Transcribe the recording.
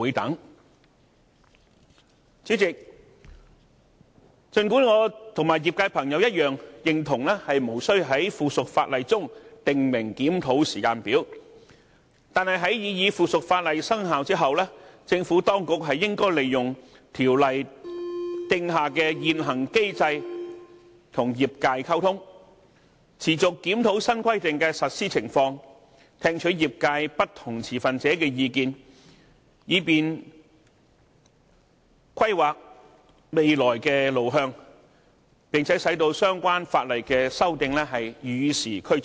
代理主席，儘管我與業界朋友一樣，認同無須在附屬法例中訂明檢討時間表，但在擬議附屬法例生效後，政府當局理應利用《條例》訂下的現行機制和業界溝通，持續檢討新規定的實施情況，聽取業界不同持份者的意見，以便規劃未來的路向，並使相關法例的修訂與時俱進。